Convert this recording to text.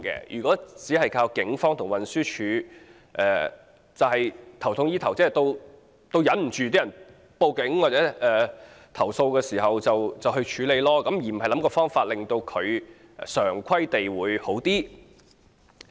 如果只靠警方和運輸署，是"頭痛醫腳"，接獲市民報警或投訴才處理，而非對症下藥，根治問題。